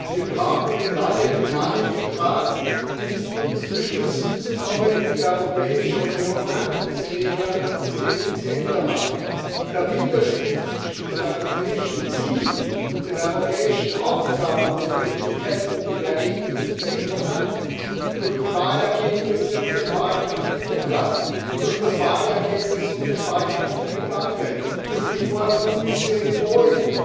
Wir brauchen eine neue Dynamik im Rat, um zu Beschlüssen zu kommen, die die Europäische Union handlungsfähiger und effizienter machen. Der Widerspruch zwischen den europäischen Zielen und den europäischen Aufgaben und Notwendigkeiten und den Ergebnissen ist eklatant durch die Wahlergebnisse und den Wahlkampf in Ungarn, durch das Wahlergebnis und den Wahlkampf in Italien, durch die Vorkommnisse in Polen,